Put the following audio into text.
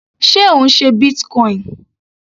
Sé Ò ń ṣe Bitcoin?